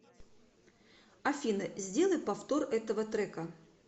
афина сделай повтор этого трека